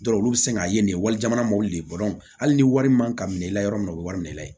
olu bɛ sin k'a ye nin ye wali jamana mɔli de ye hali ni wari man ka minɛ i la yɔrɔ min na o bɛ wari minɛ i la ye